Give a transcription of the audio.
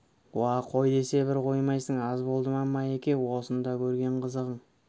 уа қой десе бір қоймайсың аз болды ма майеке осында көрген қызығың